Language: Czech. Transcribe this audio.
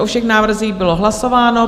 O všech návrzích bylo hlasováno.